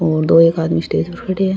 और दो एक आदमी स्टेज पे खड़े है।